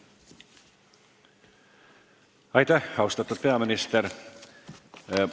Aitäh, austatud peaminister!